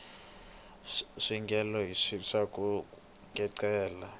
swi vangela rixaka ku kecela